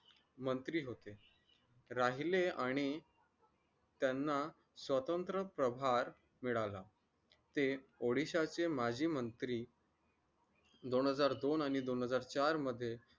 मंत्री होते राहिले आणि त्यांना स्वतंत्र प्रवार मिळाला ते odisha चे माजी मंत्री दोन हजार दोन आणि दोन हजार चार मध्ये